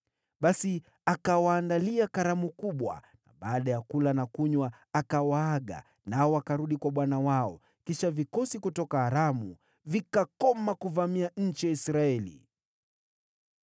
Basi akawaandalia karamu kubwa, na baada ya kula na kunywa, akawaaga nao wakarudi kwa bwana wao. Hivyo, vikosi kutoka Aramu vikakoma kuvamia nchi ya Israeli.